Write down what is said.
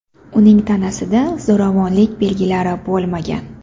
Uning tanasida zo‘ravonlik belgilari bo‘lmagan.